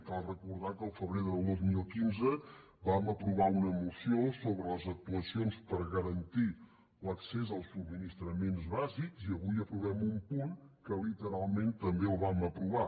cal recordar que el febrer del dos mil quinze vam aprovar una moció sobre les actuacions per garantir l’accés als subministraments bàsics i avui aprovem un punt que literalment també el vam aprovar